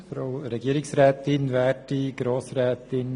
Der Motionär hat das Wort.